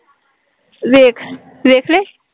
ਵੇਖ, ਵੇਖਲੇ